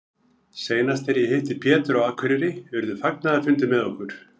Seinast þegar ég hitti Pétur á Akureyri urðu fagnaðarfundir með okkur.